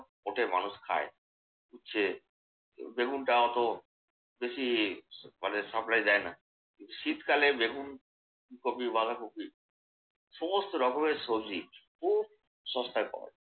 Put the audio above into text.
ওঠে, মানুষ খায়। যে বেগুনটা অত বেশি ফলে supply দেয় না। কিন্তু শীতকালে বেগুন, ফুলকপি, বাঁধাকপি সমস্ত রকমের সবজি খুব সস্তায় পাওয়া যায়।